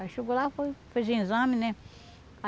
Aí chegou lá, foi fez um exame, né?